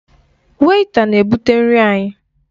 Wèịta na-ebụte nri anyị.